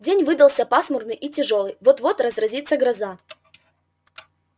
день выдался пасмурный и тяжёлый вот-вот разразится гроза